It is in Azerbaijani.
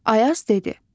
Ayaz dedi: